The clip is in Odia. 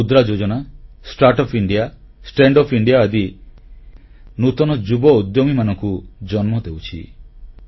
ଆଜିର Mudra Yojana startup India standup India ଆଦି କାର୍ଯ୍ୟକ୍ରମ ନୂତନ ଯୁବ ଉଦ୍ୟମୀମାନଙ୍କୁ ଜନ୍ମ ଦେଉଛି